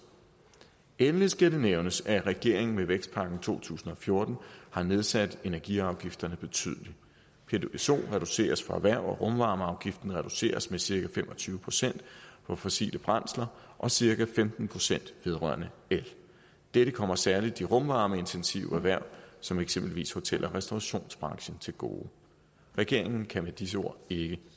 endelig skal det nævnes at regeringen med vækstpakken fra to tusind og fjorten har nedsat energiafgifterne betydeligt psoen reduceres for erhverv og rumvarmeafgiften reduceres med cirka fem og tyve procent for fossile brændsler og cirka femten procent vedrørende el dette kommer særlig de rumvarmeintensive erhverv som eksempelvis hotel og restaurationsbranchen til gode regeringen kan med disse ord ikke